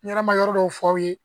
N yɛrɛ ma yɔrɔ dɔw f'aw ye